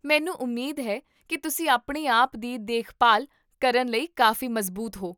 ਮੈਨੂੰ ਉਮੀਦ ਹੈ ਕੀ ਤੁਸੀਂ ਆਪਣੇ ਆਪ ਦੀ ਦੇਖਭਾਲ ਕਰਨ ਲਈ ਕਾਫ਼ੀ ਮਜ਼ਬੂਤ ਹੋ